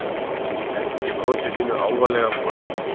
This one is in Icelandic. Helgi brosir sínu álfalega brosi.